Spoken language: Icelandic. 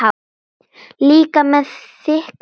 Líka með þykka fætur.